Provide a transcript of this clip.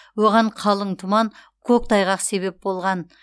оған қалың тұман көктайғақ себеп болған